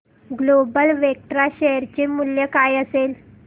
global Vectra share चे मूल्य काय असेल